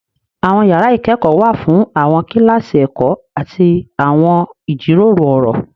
Àwọn yàrà ikẹkọ wà fún awọn kilasi ẹkọ ati awọn ijiro ọrọ.